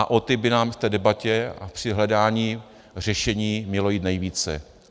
A o ty by nám v té debatě a při hledání řešení mělo jít nejvíce.